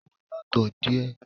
Ó yàtọ̀ díẹ̀